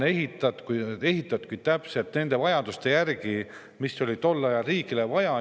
See on ehitatud täpselt nende vajaduste järgi, mis tol ajal riigil olid.